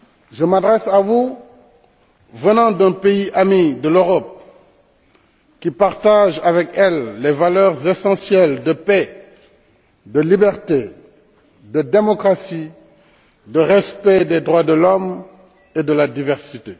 Je m'adresse à vous, venant d'un pays ami de l'Europe, qui partage avec elle les valeurs essentielles de paix, de liberté, de démocratie, de respect des droits de l'homme et de la diversité.